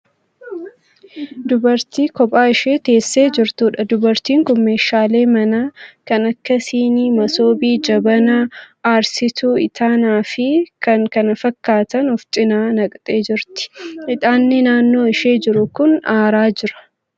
Dubartii kophaa ishee teessee jirtuudha. Dubartiin kun meeshaalee manaa kan akka sinii, masoobii, jabanaa, aarsituu itaanaa fi kan kana fakkaatan ofi cina naqxee jirti. Itaanni naannoo ishee jiru kun aaraa jira.